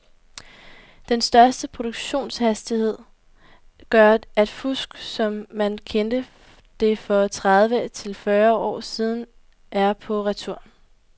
Den større produktionshastighed gør at fusk, som man kendte det for tredive til fyrre år siden, er på retur.